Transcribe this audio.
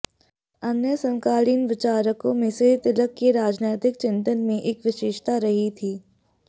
अन्य समकालीन विचारकों में से तिलक के राजनीतिक चिंतन में एक विशेषता रही थी